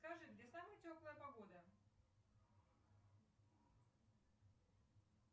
скажи где самая теплая погода